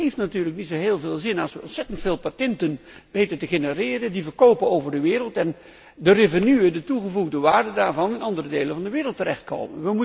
Het heeft natuurlijk niet zo heel veel zin als we ontzettend veel patenten genereren, die verkopen over de wereld en als de toegevoegde waarde daarvan in andere delen van de wereld terechtkomt.